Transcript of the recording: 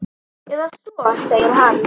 Eða svo segir hann.